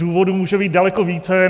Důvodů může být daleko více.